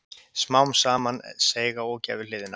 Smá saman seig á ógæfuhliðina.